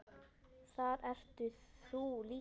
Þar ert þú líka.